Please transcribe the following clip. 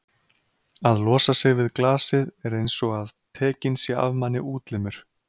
að losa sig við glasið er einsog að tekinn sé af manni útlimur.